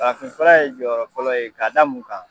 Farafinfura ye jɔyɔrɔ fɔlɔ ye k'a da mun kan?